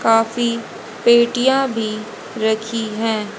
Coffee पेटिया भी रखी है।